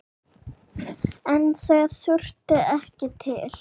En það þurfti ekki til.